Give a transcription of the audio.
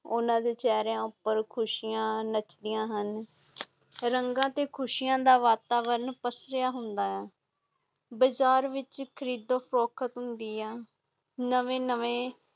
ਉਨਾ ਦੇ ਚੇਹਰੇ ਉਤੇ ਖੁਸ਼ੀਆਂ ਨਚਦੀਆਂ ਹਨ ਰੰਗ ਤੇ ਖੁਸ਼ੀਆਂ ਦਾ ਵਤਾਵਾਰਨ ਪਸਿਆ ਹੁੰਦਾ ਏ ਬਜਾਰ ਵਿਚ ਖਰੀਦ ਨਵੇਂ ਨਵੇਂ